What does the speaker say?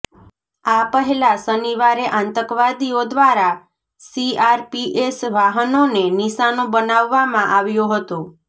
આ પહેલા શનિવારે આતંકવાદીઓ ઘ્વારા સીઆરપીએસ વાહનોને નિશાનો બનાવવામાં આવ્યો હતો